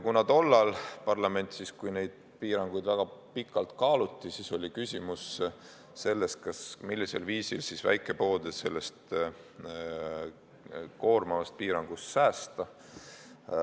Kui neid piiranguid tollal parlamendis väga pikalt kaaluti, siis oli küsimus, millisel viisil väikepoode sellest koormavast piirangust säästa.